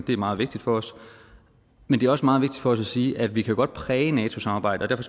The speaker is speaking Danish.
er meget vigtigt for os men det er også meget vigtigt for os at sige at vi jo godt kan præge nato samarbejdet og